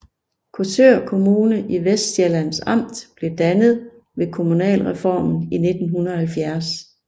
Korsør Kommune i Vestsjællands Amt blev dannet ved kommunalreformen i 1970